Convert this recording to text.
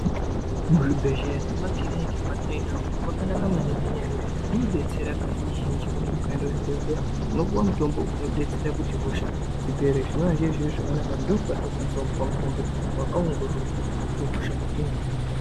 Muzvibhedhleya nemumakiriniki mwatinoenda umu makanaka maningi ngenyaya yekuti munodetsera kazhinji zhinji kuti mukaenda kuzvibhedhleya unopuwa mutombo unodetsera kuti hosha dzipere zvinoazvirizviro zvakanaka ndokwatinokwanisa kupuwa mutombo wakaongororwa wekuti .